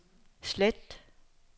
slet